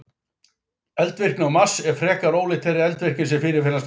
Eldvirkni á Mars er frekar ólík þeirri eldvirkni sem fyrirfinnst á jörðinni.